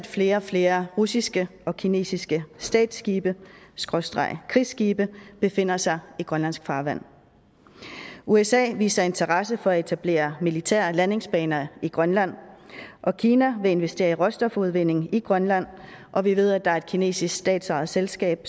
flere og flere russiske og kinesiske statsskibekrigsskibe befinder sig i grønlandsk farvand usa viser interesse for at etablere militære landingsbaner i grønland kina vil investere i råstofudvinding i grønland og vi ved at der er et kinesisk statsejet selskab